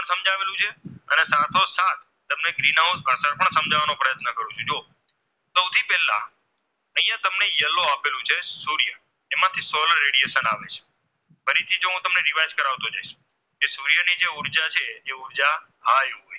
અહીંયા તમને Yellow આપેલું છે સૂર્ય એમાંથી Solar Radiation આવે છે ફરીથી જો હું તમને Revice કરાવતો જઈશ કે સૂર્યની જે ઉર્જા છે ઉર્જા હાય